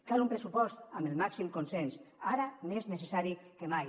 cal un pressupost amb el màxim consens ara més necessari que mai